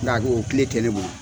Nka ko o kile tɛ ne bolo